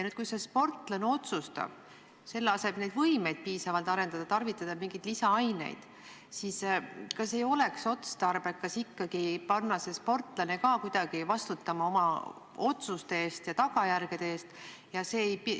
Kui konkreetne sportlane otsustab selle asemel, et oma võimeid ausal teel arendada, tarvitada mingeid lisaaineid, siis kas ei oleks otstarbekas ikkagi panna see sportlane kuidagi vastutama oma otsuste ja nende tagajärgede eest?